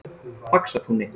Faxatúni